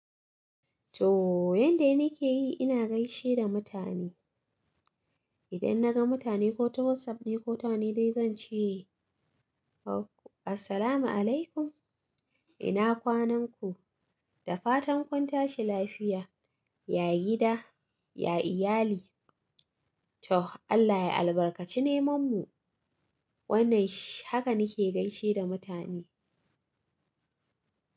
To yanda nake yi ina gaishe da mutane. Idan naga mutane ko ta WhatsApp ne ko ta wane dai zan ce, oh Assalamualaikum ina kwanan ku? Da fatan kun tashi lafiya, ya gida, ya iyali to Allah ya albarkaci neman mu. Wannan haka nake gaishe da mutane.